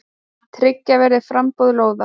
Tryggja verði framboð lóða.